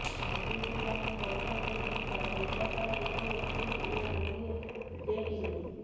ସ୍ୱଦେଶୀ ଜ୍ଞାନ କୌଶଳରେ ନିର୍ମିତ ତେଜସର ଗୋଟିଏ ସିଟ୍ ଓ ଗୋଟିଏ ଜେଟ୍ ଇଂଜିନ